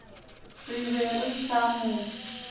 re be re sa mo